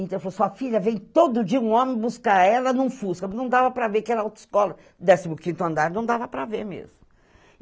Então eu falou, Sua filha vem todo dia um homem buscar ela num fusca , não dava para ver que era autoescola, décimo quinto andar, não dava para ver mesmo.